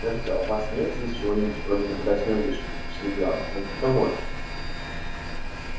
скажите а у вас нет здесь чего-нибудь вроде наблюдательной вышки спросил гаал на открытом воздухе